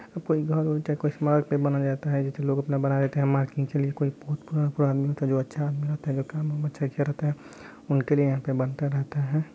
अब कोई घर उर चाहे कुछ मार्ग पे बनाया जाता है जैसे लोग अपना बनाए रखते है के लिए कोई बहुत पुराना-पुराना आदमी होता है जो है जो अच्छा आदमी होता है जो काम-वाम अच्छा किया रहता है उनके लिए यहाँ पे बनता रहता है।